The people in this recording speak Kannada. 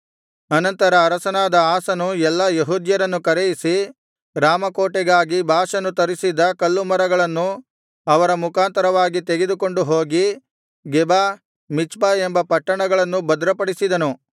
ಅನಂತರ ಅರಸನಾದ ಆಸನು ಎಲ್ಲಾ ಯೆಹೂದ್ಯರನ್ನು ಕರೆಯಿಸಿ ರಾಮ ಕೋಟೆಗಾಗಿ ಬಾಷನು ತರಿಸಿದ್ದ ಕಲ್ಲುಮರಗಳನ್ನು ಅವರ ಮುಖಾಂತರವಾಗಿ ತೆಗೆದುಕೊಂಡು ಹೋಗಿ ಗೆಬ ಮಿಚ್ಪ ಎಂಬ ಪಟ್ಟಣಗಳನ್ನು ಭದ್ರಪಡಿಸಿದನು